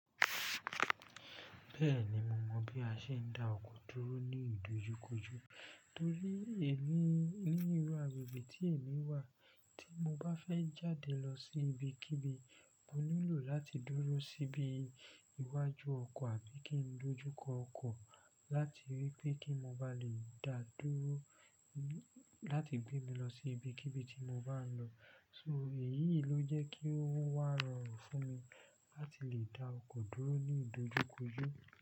Bẹ́ẹ̀ni, mo mọ bí a ṣe ń dá ọkọ̀ dúró ní ìdojúkojú torí èmi nílu àgbegbe tí èmi wà tí mo bá fẹ́ jáde lọ sí ibikíbi mo nílò láti dúró síbi iwájú ọkọ̀ àbí kí n dojú kọ ọkọ̀ láti rí pé kí mo ba lè dá dúró láti gbé mi lọ sí ibikíbi tí mo bá ń lọ. So èyí ló jẹ́ kí ó wá rọrùn fún mi láti lè dá ọkọ̀ dúró ní ìdojúkojú.